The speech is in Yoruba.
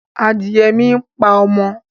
Adìye mi ń pa ọmọ